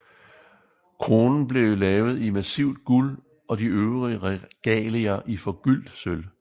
Kronen ble laget i massivt guld og de øvrige regalier i forgyldt sølv